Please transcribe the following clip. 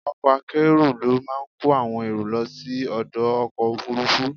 Ọkọ̀ akérò ló máa kó àwọn èrò lọ sí ọdọ̀ ọkọ̀ Òfurufú.